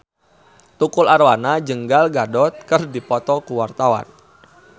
Tukul Arwana jeung Gal Gadot keur dipoto ku wartawan